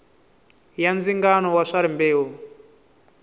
ya ndzingano wa swa rimbewu